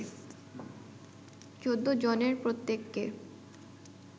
১৪ জনের প্রত্যেককে